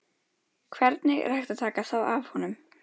Hvernig er hægt að taka það af honum?